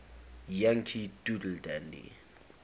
yankee doodle dandy